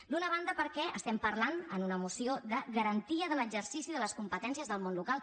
d’una ban·da perquè estem parlant en una moció de garantia de l’exercici de les competències del món local